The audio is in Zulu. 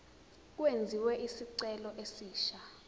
kwenziwe isicelo esisha